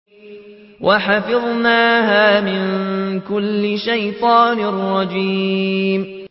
وَحَفِظْنَاهَا مِن كُلِّ شَيْطَانٍ رَّجِيمٍ